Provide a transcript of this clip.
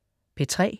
P3: